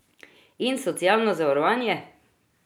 In socialno zavarovanje?